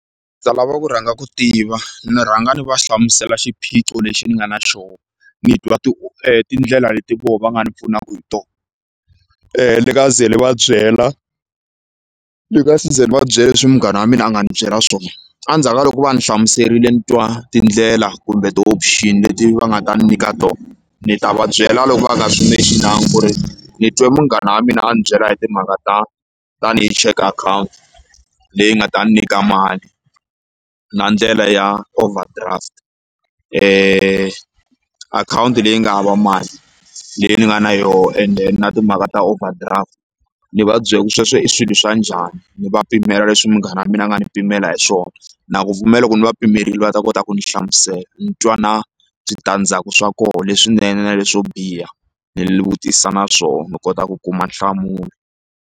lava ku rhanga ku tiva ni rhanga ni va hlamusela xiphiqo lexi ni nga na xoho ni twa tindlela leti voho va nga ni pfunaka hi tona ni nga ze ni va byela ndzi nga se za ni va byela leswi munghana wa mina a nga ndzi byela swona endzhaku ka loko va ndzi hlamuserile ni twa tindlela kumbe ti-option leti va nga ta ni nyika tona ni ta va byela loko va nga swi mention-anga ku ri ni twe munghana wa mina a ni byela hi timhaka ta tanihi check akhawunti leyi nga ta ndzi nyika mali na ndlela ya overdraft akhawunti leyi nga hava mali leyi ni nga na yoho and then na timhaka ta overdraft ni va byela ku sweswo i swilo swa njhani ni va pimela leswi munghana wa mina a nga ni pimela hi swona na ku pfumela loko ni va pimerile va ta kota ku ndzi hlamusela ni twa na switandzhaku swa kona leswinene na leswo biha ni vutisa na swona ni kota ku kuma nhlamulo.